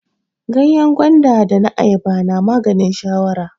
Ganyen gwanda da na Ayaba na maganin shawara.